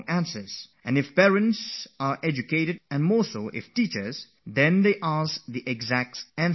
And if we have educated parents, on top of it parents who are teachers themselves, then they almost end up making us rewrite the entire paper